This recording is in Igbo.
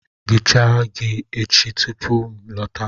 Ghichaa ji echi tupu m alọta